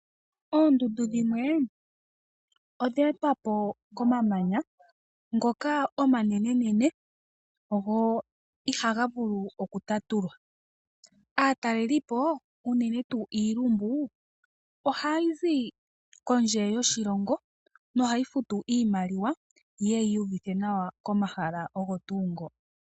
Oondundu dhimwe odha etwa po komamanya ngoka omanenenene go ihaga vulu okutatulwa. Aatalelipo unene tuu iilumbu ohayi zi kondje yoshilongo na ohayi futu iimaliwa yi ye yiiyuvithe nawa komahala ogo tuu ngo.